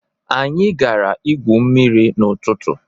Anyị gara ígwú mmiri n'ụtụtụ.